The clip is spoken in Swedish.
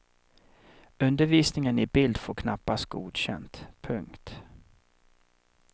Undervisningen i bild får knappast godkänt. punkt